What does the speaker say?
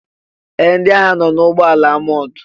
Ee! Ndị agha nọ n'ụgbọala amọọ̀d.